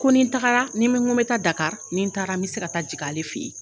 Ko ni tagara n mi ko mi taa Dakari ni taara n bɛ se ka taa jigin ale fe yen.